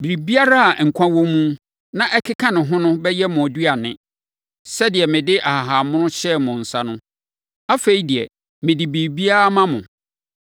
Biribiara a nkwa wɔ mu, na ɛkeka ne ho no bɛyɛ mo aduane. Sɛdeɛ mede nhahammono hyɛɛ mo nsa no, afei deɛ, mede biribiara ma mo.